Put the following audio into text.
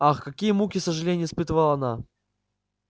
ах какие муки сожалений испытывала она